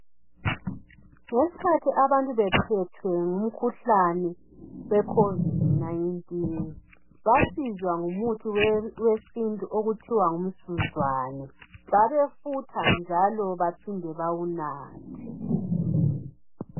Ngesikhathi abantu bephethwe ngumkhuhlane we COVID-19 basizwa ngumuthi wesintu okuthiwa ngumsuzwane, babefutha njalo baphinde bawunathe.